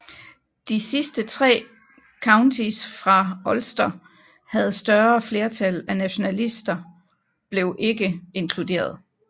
De sidste tre counties fra Ulster havde større flertal af nationalister blev ikke inkluderet